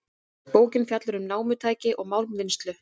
Bókin fjallar um námutækni og málmvinnslu.